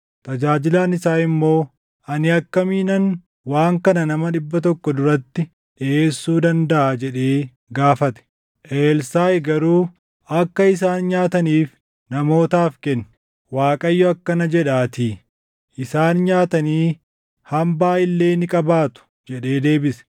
Tajaajilaan isaa immoo, “Ani akkamiinan waan kana nama dhibba tokko duratti dhiʼeessuu dandaʼa?” jedhee gaafate. Elsaaʼi garuu, “Akka isaan nyaataniif namootaaf kenni. Waaqayyo akkana jedhaatii; ‘Isaan nyaatanii hambaa illee ni qabaatu’ ” jedhee deebise.